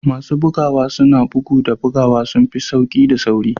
Masu bugawa suna sa bugu da buguwa sun fi sauƙi da sauri